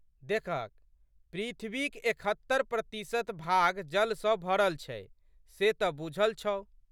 देखहक पृथ्वीक एकहत्तरि प्रतिशत भाग जल सँ भरल छै से तऽ बूझल छौ?